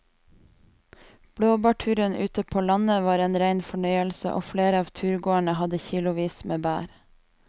Blåbærturen ute på landet var en rein fornøyelse og flere av turgåerene hadde kilosvis med bær.